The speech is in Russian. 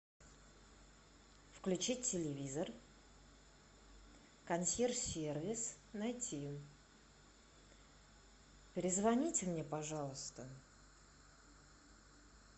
включить телевизор консьерж сервис найти перезвоните мне пожалуйста